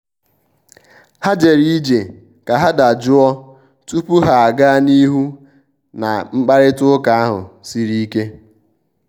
ha jere ije ka ha dajụọ tupu ha aga n'ihu na mkparịta ụka ahụ siri ike.